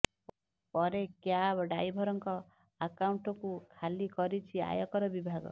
ପରେ କ୍ୟାବ ଡ୍ରାଇଭରଙ୍କ ଆକାଉଂଟକୁ ଖାଲି କରିଛି ଆୟକର ବିଭାଗ